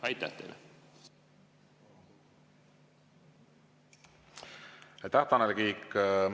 Aitäh, Tanel Kiik!